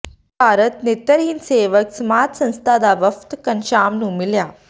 ਭਾਰਤ ਨੇਤਰਹੀਣ ਸੇਵਕ ਸਮਾਜ ਸੰਸਥਾ ਦਾ ਵਫ਼ਦ ਘਣਸ਼ਾਮ ਨੂੰ ਮਿਲਿਆ